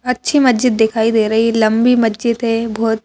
अच्छी मस्जिद दिखाई दे रही है लंबी मस्जिद है बहुत--